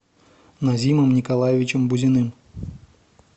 назимом николаевичем бузиным